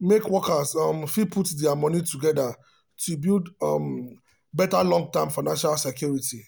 make workers um fit put their money together to build um better long-term financial security.